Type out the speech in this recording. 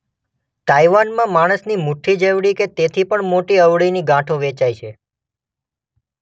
તાઈવાનમાં માણસની મુઠ્ઠી જેવડી કે તેથી પણ મોટી અળવીની ગાંઠો વેચાય છે.